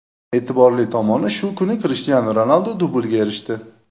E’tiborli tomoni, shu kuni Krishtianu Ronaldu dublga erishdi.